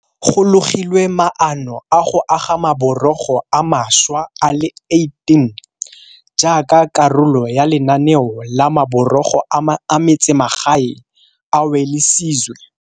Go logilwe maano a go aga maborogo a mašwa a le 18 jaaka karolo ya lenaneo la Maborogo a Metsemagae a Welisizwe.